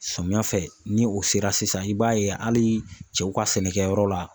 Samiyɛ fɛ ni o sera sisan i b'a ye hali cɛw ka sɛnɛkɛyɔrɔ la